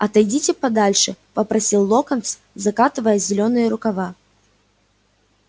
отойдите подальше попросил локонс закатывая зелёные рукава